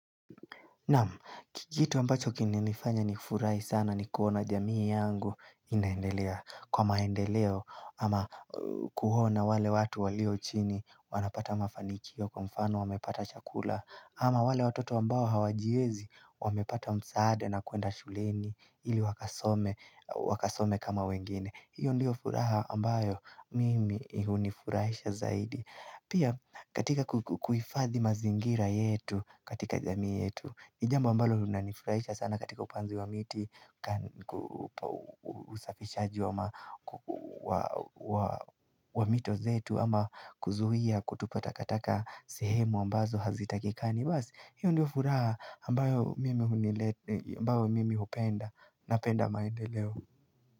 Kitu ambacho kimenifanya ni furahi sana ni kuona jamii yangu inaendelea kwa maendeleo ama kuona wale watu walio chini wanapata mafanikio kwa mfano wamepata chakula ama wale watoto ambao hawajiezi wamepata msaada na kuenda shuleni ili wakasome kama wengine. Hiyo ndio furaha ambayo mimi hunifurahisha zaidi. Pia katika kuhifathi mazingira yetu katika jamii yetu. Nijambo ambalo linanifurahisha sana katika upanzi wa miti, usafishaji wa wa mito zetu ama kuzuia kutupa takataka sehemu ambazo hazitakikani. Basi, hiyo ndio furaha ambayo mimi ambayo mimi upenda napenda maendeleo.